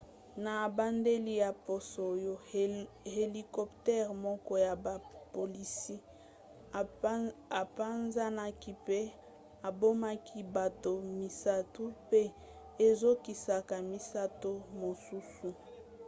na ebandeli ya poso oyo helicoptere moko ya bapolisi epanzanaki mpe ebomaki bato misato mpe ezokisaka misato mosusu